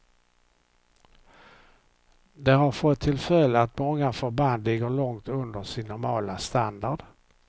Det har fått till följd att många förband ligger långt under sin normala standard.